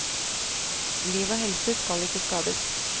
Liv og helse skal ikke skades.